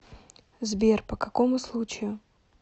сбер по какому случаю